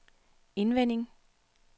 indvendig